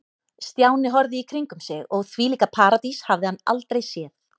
Stjáni horfði í kringum sig og þvílíka paradís hafði hann aldrei séð.